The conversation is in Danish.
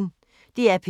DR P1